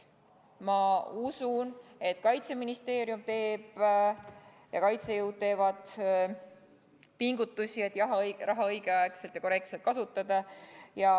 Ma usun, et Kaitseministeerium ja kaitsejõud teevad pingutusi, et raha õigel ajal ja korrektselt kasutada.